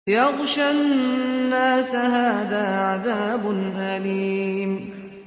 يَغْشَى النَّاسَ ۖ هَٰذَا عَذَابٌ أَلِيمٌ